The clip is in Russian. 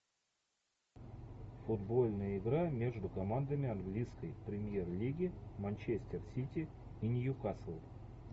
футбольная игра между командами английской премьер лиги манчестер сити и ньюкасл